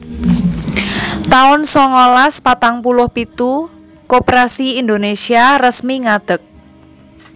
taun songolas patang puluh pitu Koperasi Indonesia resmi ngadeg